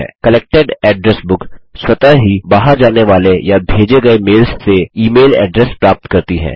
collected address book स्वतः ही बाहर जाने वाले या भेजे गये मेल्स से ई मेल एड्रेस प्राप्त करती है